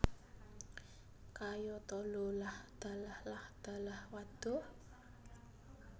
Kayata lho lah dalah lah dalah wadhuh